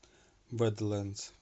бэдлэндс